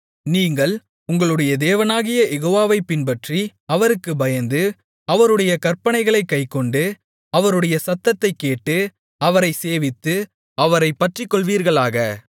நீங்கள் உங்களுடைய தேவனாகிய யெகோவாவைப் பின்பற்றி அவருக்குப் பயந்து அவருடைய கற்பனைகளைக் கைக்கொண்டு அவருடைய சத்தத்தைக் கேட்டு அவரைச் சேவித்து அவரைப் பற்றிக்கொள்வீர்களாக